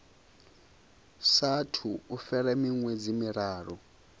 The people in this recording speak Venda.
saathu u fhela miṅwedzi miraru